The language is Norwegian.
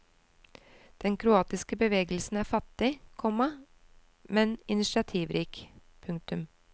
Den kroatiske bevegelsen er fattig, komma men initiativrik. punktum